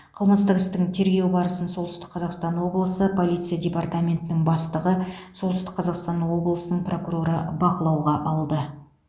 қылмыстық істің тергеу барысын солтүстік қазақстан облысы полиция департаментінің бастығы солтүстік қазақстан облысының прокуроры бақылауға алды